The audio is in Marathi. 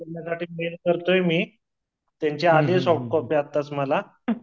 करतोय मी त्यांच्या आधी मला